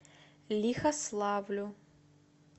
лихославлю